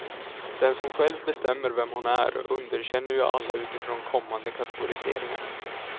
Den som själv bestämmer vem hon är underkänner ju alla utifrån kommande kategoriseringar.